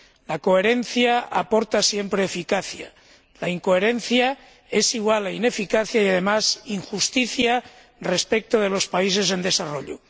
La coherencia aporta siempre eficacia, la incoherencia es igual a ineficacia y, además, a injusticia respecto de los países en desarrollo.